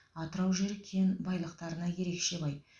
атырау жері кен байлықтарына ерекше бай